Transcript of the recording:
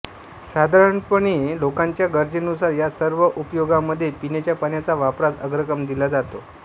साधारणपणे लोकांच्या गरजेनुसार या सर्व उपयोगांमध्ये पिण्याच्या पाण्याच्या वापरास अग्रक्रम दिला जातो